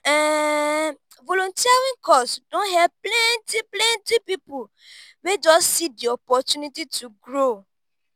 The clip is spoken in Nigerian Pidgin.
um volunteering cause don help plenty plenty people wey just see di opportunity to grow.